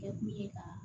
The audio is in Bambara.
Kɛ kun ye a